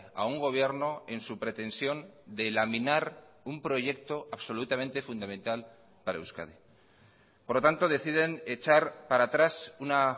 a un gobierno en su pretensión de laminar un proyecto absolutamente fundamental para euskadi por lo tanto deciden echar para atrás una